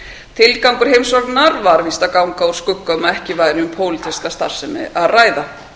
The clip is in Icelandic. tilgangur heimsóknarinnar var víst að ganga úr skugga um að ekki væri um pólitíska starfsemi að ræða